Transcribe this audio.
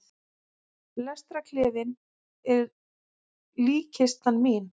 Lestarklefinn er líkkistan mín.